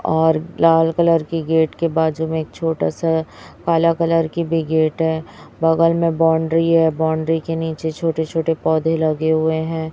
और लाल कलर की गेट के बाजू में एक छोटा सा काला कलर की भी गेट है बगल में बाउंड्री है बाउंड्री के नीचे छोटे-छोटे पौधे लगे हुए है।